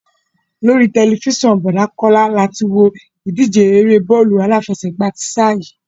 Lórí tẹ̀lifísàn Bọ̀dá Kọ́lá la ti wo ìdíje eré e bọ́ọ̀lù aláfẹsẹ̀gbá ti sáà yìí